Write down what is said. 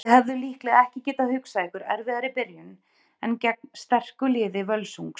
Þið hefðuð líklega ekki getað hugsað ykkur erfiðari byrjun en gegn sterku liði Völsungs?